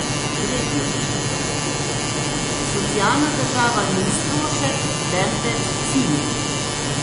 Tretjič: 'socialna država' ni strošek, temveč cilj.